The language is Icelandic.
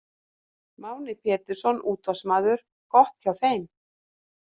Máni Pétursson, útvarpsmaður: Gott hjá þeim.